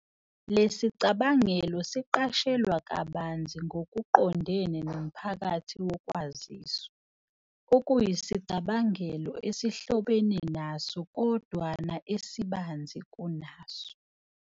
Lesicabangelo siqashelwa kabanzi ngokuqondene nomohakathi wokwaziswa, okuyisicabangelo esihlobene naso kodwana esibanzi kunaso.